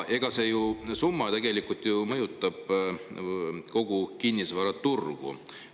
Aga see summa ju mõjutab kogu kinnisvaraturgu.